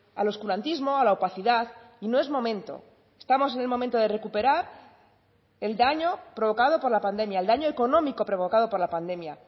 al oscurantismo a la opacidad y no es momento estamos en el momento de recuperar el daño provocado por la pandemia el daño económico provocado por la pandemia